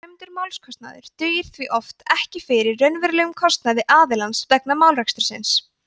dæmdur málskostnaður dugir því oft ekki fyrir raunverulegum kostnaði aðilans vegna málarekstursins